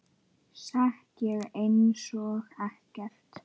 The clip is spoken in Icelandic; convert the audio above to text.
Sekk ég einsog ekkert.